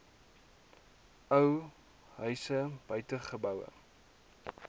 ou huis buitegeboue